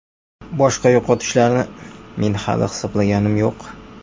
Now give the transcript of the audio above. Boshqa yo‘qotishlarni men hali hisoblaganim yo‘q.